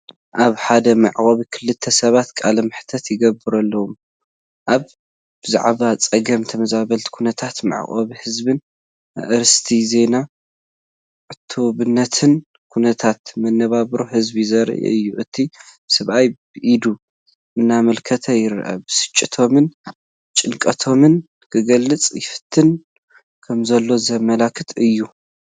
ኣብ ሓደ መዕቆቢ ክልተ ሰባት ቃለ መሕትት ይግበረሎም ኣሎ። ብዛዕባ ጸገም ተመዛበልትን፣ ኩነታት መዕቆቢ ህዝብን ኣርእስቲ ዜናን ዕቱብነት ኩነታት መነባብሮ ህዝቢ ዘርኢ እዩ። እቲ ሰብኣይ ብኢዱ እናኣመልከተ ይርአ፣ ብስጭቶምን ጭንቀቶምን ክገልጹ ይፍትኑ ከምዘለዉ ዘመልክት እዩ።